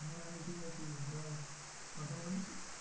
হ্যাঁ আমি ঠিক আছি বল, কথা বলেছিলি?